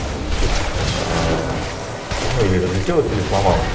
аа ну или залетела или сломалась